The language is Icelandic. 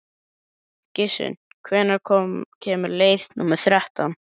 Gissunn, hvenær kemur leið númer þrettán?